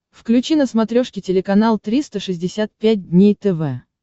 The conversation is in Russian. включи на смотрешке телеканал триста шестьдесят пять дней тв